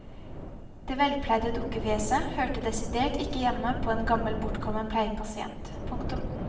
Det velpleide dukkefjeset hørte desidert ikke hjemme på en gammel bortkommen pleiepasient. punktum